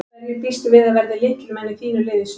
Hverjir býstu við að verði lykilmenn í þínu liði í sumar?